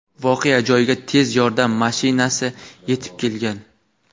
voqea joyiga tez yordam mashinasi yetib kelgan.